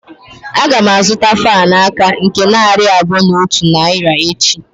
Agam azuta fan aka nke narị abuo na otu naira echi.